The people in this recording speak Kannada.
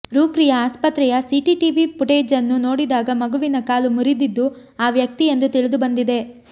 ರೂರ್ಕಿಯ ಆಸ್ಪತ್ರೆಯ ಸಿಟಿಟಿವಿ ಫುಟೇಜನ್ನು ನೋಡಿದಾಗ ಮಗುವಿನ ಕಾಲು ಮುರಿದಿದ್ದು ಆ ವ್ಯಕ್ತಿ ಎಂದು ತಿಳಿದುಬಂದಿದೆ